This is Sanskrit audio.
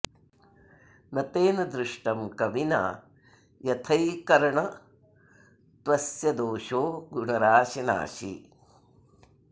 न तेन दृष्टं कविना यथैकर्णत्वस्य दोषो गुणराशि नाशी